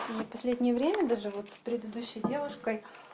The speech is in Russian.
и в последнее время даже вот с предыдущей девушкой